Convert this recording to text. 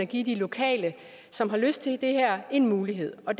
give de lokale som har lyst til det her en mulighed og